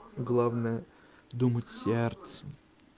главное думать сердцем